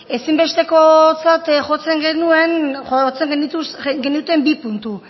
ezinbestekotzat jotzen genituen bi puntu